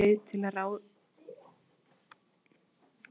Er einhver leið til að ráða bót á þessu?